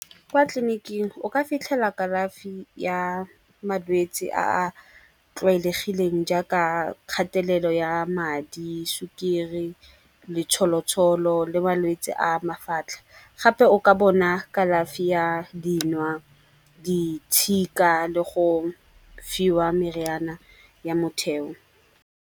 Kwa tleliniking o ka fitlhela kalafi ya malwetsi a a tlwaelegileng jaaka kgatelelo ya madi, sukiri, letsholotsholo le malwetse a mafatlha. Gape o ka bona kalafi ya dinwa, di tshika le go fiwa meriana ya motheo.